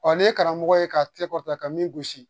ne ye karamɔgɔ ye ka tɛkɔ ta ka min gosi